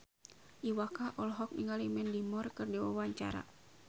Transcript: Iwa K olohok ningali Mandy Moore keur diwawancara